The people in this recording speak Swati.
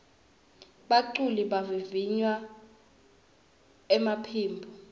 baculi bavivinya emaphimbo